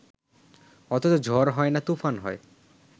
অথচ ঝড় হয় না তুফান হয়